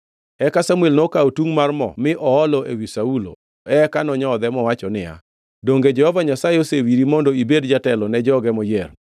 Eka Samuel nokawo tungʼ mar mo mi oolo ewi Saulo eka nonyodhe mowacho niya, “Donge Jehova Nyasaye osewiri mondo ibed jatelo ne joge moyiero.